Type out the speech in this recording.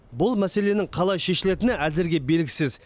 бұл мәселенің қалай шешілетіні әзірге белгісіз